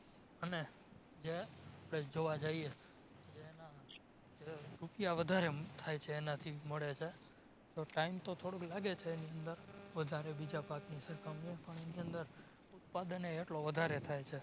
અને જે જોવા જઈએ જેમાં રૂપિયા વધારે થાય છે એનાથી મળે છે તો time તો થોડોક લાગે છે એની અંદર વધારે બીજા પાકની સરખામણીએ પણ એની અંદર ઉત્પાદનએ એટલો વધારે થાય છે